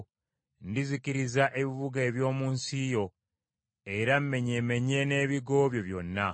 Ndizikiriza ebibuga eby’omu nsi yo era mmenyemenye n’ebigo byo byonna.